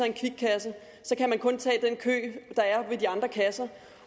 en kvikkasse så kan man kun tage den kø der er ved de andre kasser